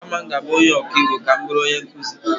Kama m ga-abụ ọkaiwu, ka m bụrụ onye nkụzi.